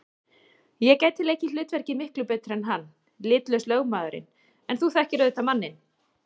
Ég gæti leikið hlutverkið miklu betur en hann- litlaus lögmaðurinn, en þú þekkir auðvitað manninn.